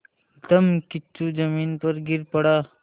धम्मकिच्चू ज़मीन पर गिर पड़ा